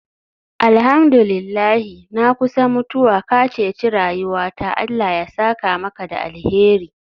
Alhamdu lillahi, na kusa mutuwa, ka ceci rayuwata Allah ya saka maka da alheri.